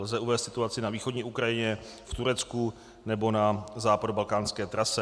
Lze uvést situaci na východní Ukrajině, v Turecku nebo na západobalkánské trase.